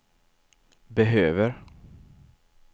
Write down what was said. behöver